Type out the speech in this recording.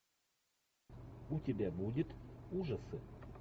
у тебя будет ужасы